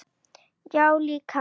Já, líka.